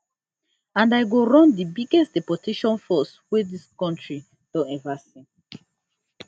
and i go run di biggest deportation force dis country don ever see